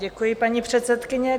Děkuji, paní předsedkyně.